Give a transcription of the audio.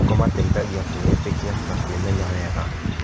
Kũmateithagia kwĩĩtĩkia na kwĩmenya wega.